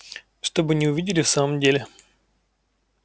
чтобы не увидели в самом деле